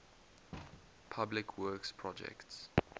public works projects